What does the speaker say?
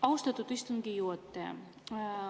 Austatud istungi juhataja!